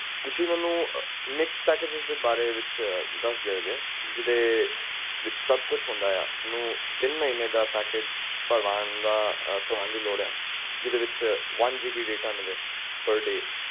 mixed packages